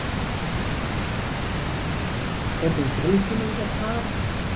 Hvernig tilfinning er það?